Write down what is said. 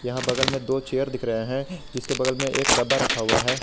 यहां बगल में दो चेयर दिख रहे है जिसके बगल मे एक डब्बा रखा हुआ है।